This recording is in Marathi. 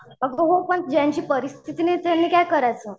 अगं हो पण ज्यांची परिस्थिती नाही त्यांनी काय करायचं?